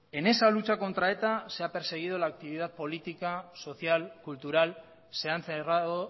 en esa lucha contra eta se ha perseguido la actividad política social cultural se han cerrado